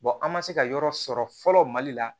an ma se ka yɔrɔ sɔrɔ fɔlɔ mali la